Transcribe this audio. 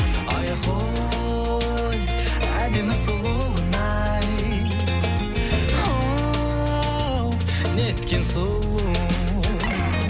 айхой әдемі сұлуын ай оу неткен сұлу